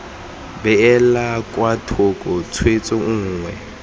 beelwa kwa thoko tshwetso nngwe